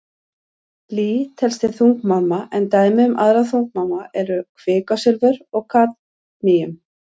Blý telst til þungmálma en dæmi um aðra þungmálma eru kvikasilfur og kadmíum.